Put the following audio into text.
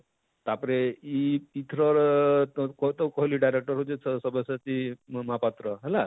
ତାପରେ ଇ ଇଥର କହିଲି director ହେଉଛେ ସବ୍ୟସାଚୀ ମହାପାତ୍ର ହେଲା,